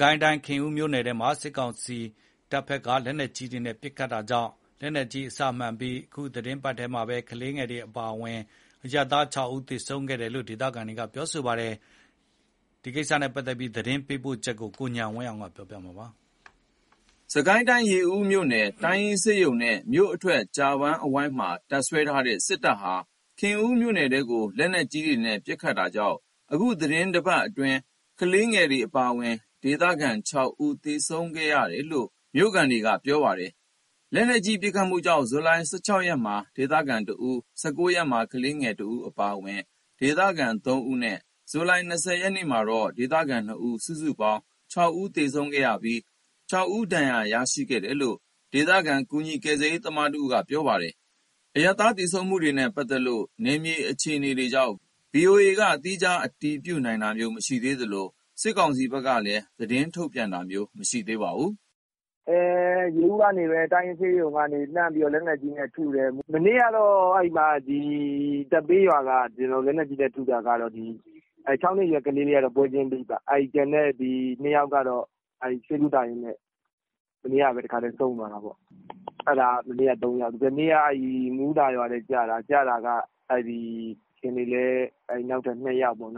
ကိုင်းတိုင်း ခင်ဦးမြို့နယ်ထဲမှာ စစ်ကောင်စီတပ်ဖက်က လက်နက်ကြီးနဲ့ ပစ်ခတ်တာကြောင့် လက်နက်ကြီးအစမှန်ပြီး အခု သီတင်းပတ်ထဲ ကလေးငယ်တွေအပါအဝင် ဒေသခံ ၆ ဦး သေဆုံးခဲ့တယ်လို့ မြို့ခံတွေကပြောပါတယ်။ ခင်ဦးမြို့နယ်ထဲက စစ်ရေးတင်းမာမှုအခြေအနေ သတင်းပေးပို့ချက်ကို ကိုဉာဏ်ဝင်းအောင် ပြောပြမှာပါ။ စစ်ကိုင်းတိုင်း ရေဦးမြို့ တိုင်းရင်းဆေးရုံနဲ့ မြို့အထွက် ကြာပန်းအဝိုင်းမှာ တပ်စွဲထားတဲ့ စစ်တပ်ဟာ ခင်ဦးမြို့နယ်ထဲကို လက်နက်ကြီးတွေနဲ့ ပစ်ခတ်တာကြောင့် အခု သီတင်းတပတ်အတွင်း ကလေးငယ်တွေ အပါအဝင် ဒေသခံ ၆ ဦးသေဆုံးခဲ့တာလို့ ဆိုပါတယ်။ လက်နက်ကြီး ပစ်ခတ်မှုကြောင့် ဇူလိုင် ၁၆ ရက်မှာ ဒေသခံ ၁ ဦး၊ ၁၉ ရက်မှာ ကလေးငယ် ၁ ဦး အပါအဝင် ဒေသခံ ၃ ဦးနဲ့ ဇူလိုင် ၂၀ မှာတော့ ဒေသခံ ၂ ဦး ၊ စုစုပေါင်း ၆ ဦးသေဆုံးခဲ့ပြီး ၆ ဦး ဒဏ်ရာ ရရှိခဲ့တယ်လို့ ဒေသခံ ကူညီကယ်ဆယ်ရေးသမား တဦးက ပြောပါတယ်။ အရပ်သား သေဆုံးမှုတွေနဲ့ပတ်သက်လို့ နယ်မြေအခြေအနေကြောင့် ဗွီအိုအေက သီးခြား အတည်မပြုနိုင်သေးသလို၊ စစ်ကောင်စီဘက်ကလည်း ထုတ်ပြန်ပြောဆိုတာ မရှိသေးပါဘူး။ “ရေဦးကနေ တိုင်းရင်းဆေးရုံကနေ လက်နက်ကြီးနဲ့ထုတယ်။ မနေ့ကတော့ သက်ပေးရွာက လက်နက်ကြီးနဲ့ထုတာက ၆ နှစ်အရွယ် ကလေးလေးကတော့ ပွဲချင်းပြီးပေါ့။ ကျန်တဲ့ ၂ ယောက်ကတော့ ဆေးကုသရင်းနဲ့ မနေ့ကပဲ တခါတည်းဆုံးသွားတာပေါ့။ အဲ့ဒါက မနေ့က ၃ ယောက် ဒီကနေ့က မူးသာ ရွာထဲကျတာ။ ကျတာက ဒီကနေ့လည်း နောက်ထပ် ၂ ယောက်ပေါ့။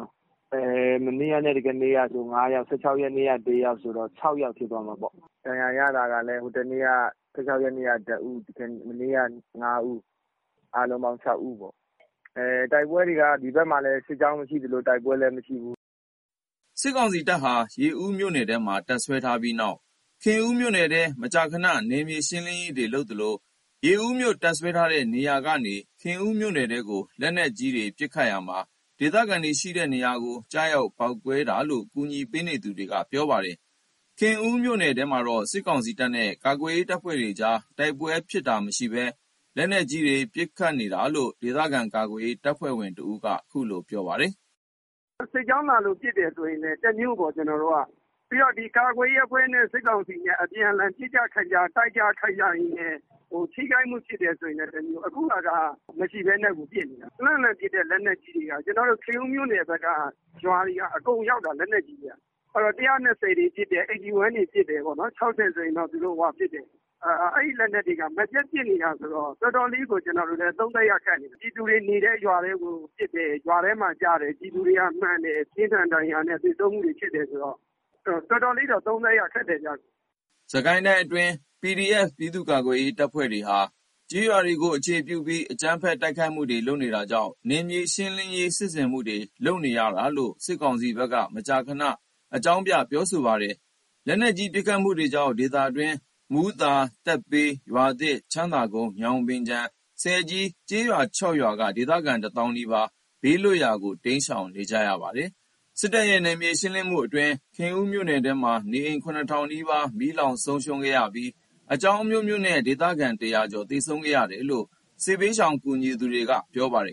မနေ့ကနဲ့ဒီကနေ့ကဆို ၅ ယောက် ၁၆ ရက်နေ့က တယောက်ဆိုတော့ ၆ ယောက်ဖြစ်သွားမှာပေါ့။ ဒဏ်ရာရတာကလည်း ၁၆ ရက်နေ့က ၁ ဦး မနေ့က ၅ ဦး အားလုံးပေါင်း ၆ ဦး တိုက်ပွဲတွေက ဒီဘက်မှာ စစ်ကြောင်းလည်း မရှိသလို တိုက်ပွဲလည်း မရှိဘူး။” စစ်ကောင်စီတပ်ဟာ ရေဦးမြို့နယ်ထဲမှာ တပ်စွဲထားပြီးနောက် ခင်ဦးမြို့နယ်ထဲ မကြာခဏ နယ်မြေရှင်းလင်းရေးတွေ လုပ်သလို၊ ရေဦးမြို့ တပ်စွဲထားတဲ့နေရာတွေကနေ ခင်ဦးမြို့နယ်ထဲကို လက်နက်ကြီးနဲ့ ပစ်ခတ်ရာမှာ ဒေသခံတွေရှိတဲ့နေရာကို ကျရောက်ပေါက်ကွဲတာလို့ အကူအညီပေးနေသူတွေက ပြောပါတယ်။ ခင်ဦးမြို့နယ်ထဲမှာတော့ စစ်ကောင်စီတပ်နဲ့ ကာကွယ်ရေးအဖွဲ့တွေကြား တိုက်ပွဲဖြစ်တာ မရှိပဲ၊ လက်နက်ကြီးတွေ ပစ်ခတ်နေတာလို့ ဒေသခံကာကွယ်ရေး တပ်ဖွဲ့ဝင်တဦးက အခုလို ပြောပါတယ်။ “စစ်ကြောင်းလာလို့ ပစ်တယ်ဆိုလည်း တမျိုးပေါ့။ ကျွန်တော်တို့က ပြီးတော့ ကာကွယ်ရေးအဖွဲ့နဲ့ စစ်ကောင်စီ အပြန်အလှန် ပစ်ကျခတ်ကြ တိုက်ကျခိုက်ကြရင်းနဲ့ ထိခိုက်မှုဖြစ်တယ်ဆိုရင်လည်းတမျိုး အခုဟာက တိုက်ပွဲလည်း မရှိဘဲနဲ့ကို ပစ်နေတာ။ လှမ်းလှမ်းပစ်တဲ့ လက်နက်ကြီးတွေက ခင်ဦးမြို့နယ်ထဲက ရွာတွေက အကုန်ရောက်တာ။ လက်နက်ကြီးက ၁၂၀ တွေပစ်တယ်။ ၈၁ တွေပစ်တယ်။ အဲ့လက်နက်တွေက မပြတ်ပစ်နေတာဆိုတော့ တော်တော်လေးကို သုံးသပ်ရခက်နေတယ်။ ပြည်သူတွေနေတဲ့ ရွာထဲကိုပစ်တယ်။ ရွာထဲမှာကျတယ် ပြည်သူတွေက မှန်တယ်။ ပြင်းထန်ဒဏ်ရာနဲ့ သေဆုံးမှုတွေဖြစ်တယ်ဆိုတော့ တော်တော်လေးတော့ သုံးသပ်ရခက်တယ်။” စစ်ကိုင်းတိုင်းအတွင်း PDF ပြည်သူ့ကာကွယ်ရေးတပ်တွေဟာ ကျေးရွာတွေကို အခြေပြုပြီး၊ အကြမ်းဖက်တိုက်ခိုက်မှုတွေ လုပ်နေတာကြောင့်၊ နယ်မြေရှင်းလင်းရေး စစ်ဆင်မှုတွေ လုပ်နေရတယ်လို့ စစ်ကောင်စီဘက်က မကြာမကြာ ရှင်းလင်းပြောဆိုလေ့ ရှိပါတယ်။ လက်နက်ကြီး ပစ်ခတ်မှုတွေကြောင့် ဒေသတွင်း မူးသာ သက်ပေး ရွာသစ် ချမ်းသာကုန်း ညောင်ပင်ခြံ ဆည်ကြီး ကျေးရွာ ၆ ရွာက ဒေသခံ ၁ သောင်းနီးပါး ဘေးလွတ်ရာ တိမ်းရှောင်နေရပါတယ်။ စစ်တပ်ရဲ့ နယ်မြေရှင်းလင်းမှုအတွင်း ခင်ဦးမြို့နယ်ထဲမှာ နေအိမ် ၇ ထောင်နီးပါး မီးလောင်ဆုံးရှုံးခဲ့ပြီး အကြောင်းအမျိုးမျိုးနဲ့ ဒေသခံ ၁၀၀ ကျော် သေဆုံးခဲ့တယ်လို့ စစ်ဘေးရှောင် ကူညီသူတွေက ပြောပါတယ်